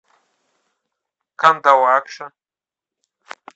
кандалакша